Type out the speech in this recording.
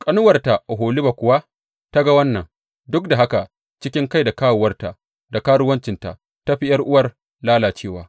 Ƙanuwarta Oholiba kuwa ta ga wannan, duk da haka cikin kai da kawowarta da karuwancinta ta fi ’yar’uwar lalacewa.